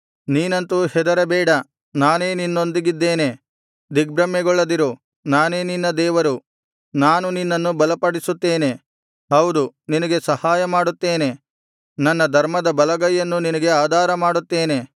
ನೀನಂತು ಹೆದರಬೇಡ ನಾನೇ ನಿನ್ನೊಂದಿಗಿದ್ದೇನೆ ದಿಗ್ಭ್ರಮೆಗೊಳ್ಳದಿರು ನಾನೇ ನಿನ್ನ ದೇವರು ನಾನು ನಿನ್ನನ್ನು ಬಲಪಡಿಸುತ್ತೇನೆ ಹೌದು ನಿನಗೆ ಸಹಾಯಮಾಡುತ್ತೇನೆ ನನ್ನ ಧರ್ಮದ ಬಲಗೈಯನ್ನು ನಿನಗೆ ಆಧಾರಮಾಡುತ್ತೇನೆ